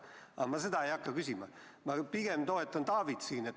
Aga seda ma ei hakka küsima, ma pigem toetan Taavit.